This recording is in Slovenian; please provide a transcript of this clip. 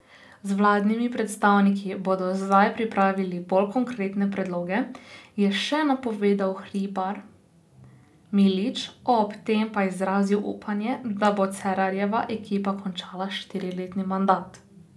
Z vladnimi predstavniki bodo zdaj pripravili bolj konkretne predloge, je še napovedal Hribar Milič, ob tem pa izrazil upanje, da bo Cerarjeva ekipa končala štiriletni mandat.